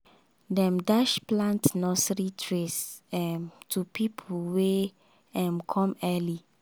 dem dash plant nursery trays um to pipo wey um come early